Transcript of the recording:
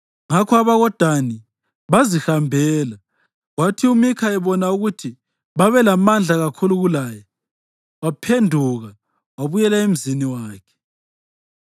Ngakho abakoDani bazihambela, kwathi uMikha ebona ukuthi babelamandla kakhulu kulaye, waphenduka wabuyela emzini wakhe.